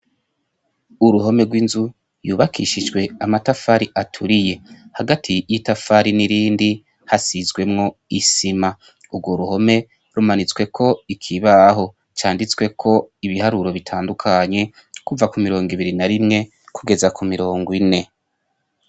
Uruhome rw'inzu ,yubakishijwe amatafari aturiye . Hagati yitafari nirindi hasizwemwo isima. Urwo ruhome , rumanitsweko ikibaho canditsweko ibiharuro bitandukanye, kuva kumirongo ibiri na rimwe gugeza ku mirongo ine.